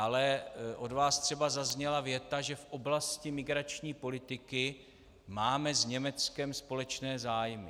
Ale od vás třeba zazněla věta, že v oblasti migrační politiky máme s Německem společné zájmy.